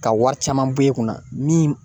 Ka wari caman bo e kunna min